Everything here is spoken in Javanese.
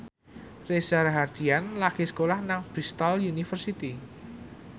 Reza Rahardian lagi sekolah nang Bristol university